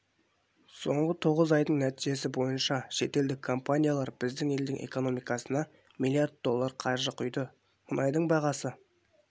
соңғы тоғыз айдың нәтижесі бойынша шетелдік компаниялар біздің елдің экономикасына миллиард доллар қаржы құйды мұнайдың бағасы